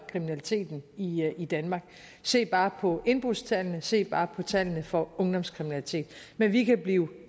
kriminaliteten i i danmark se bare på indbrudstallene se bare på tallene for ungdomskriminalitet men vi kan blive